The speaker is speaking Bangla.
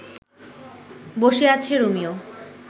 বসে আছে রোমিও